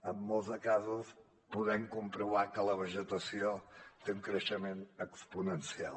en molts de casos podem comprovar que la vegetació té un creixement exponencial